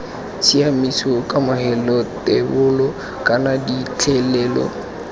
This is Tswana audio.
tshiaimiso kamogelo thebolo kana phitlhelelo